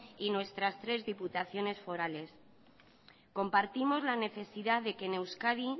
y nuestras tres diputaciones forales compartimos la necesidad de que en euskadi